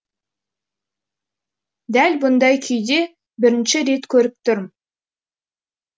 дәл бұндай күйде бірінші рет көріп тұрм